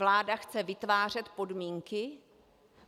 Vláda chce vytvářet podmínky?